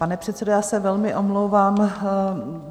Pane předsedo, já se velmi omlouvám.